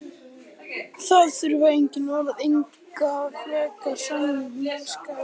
Það þurfti engin orð, enga frekari sönnun: Hún elskaði mig!